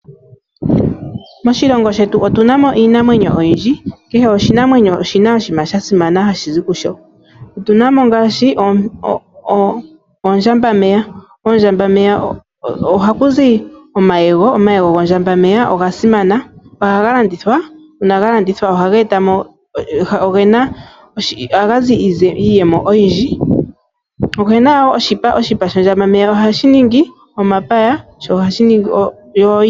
Moshilongo shetu otuna mo iinamwenyo oyindji. Kehe oshinamwenyo oshina oshiima sha simana hashi zi kusho. Otuna mo ngaashi oondjamba meya. Ondjamba meta oha kuzi omayego. Omayego gondjamba meya oga simana. Ohaga landithwa. Una ga landithwa ohaga etamo, ogena iiyemo oyindji. Ogena wo oshipa, oshipa shondjambameya oha shi ningi omapaya.